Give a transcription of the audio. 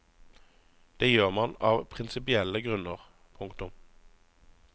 Det gjør man av prinsipielle grunner. punktum